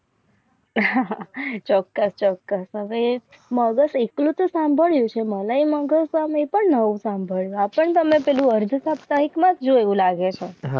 ચોક્કસ ચોક્કસ હવે મગજ એકલતા સંબંધ હતું. મગજ પણ હોઉં સાંબળ હા પણ પહેલું અર્ધા સાપ્તાહિક માં જોયું લાગે મગ